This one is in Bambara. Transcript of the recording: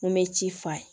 N bɛ ci f'a ye